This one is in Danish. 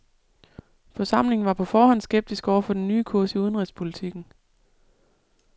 Forsamlingen var på forhånd skeptisk over for den nye kurs i udenrigspolitikken.